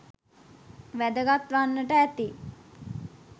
වැදගත් වන්නට ඇති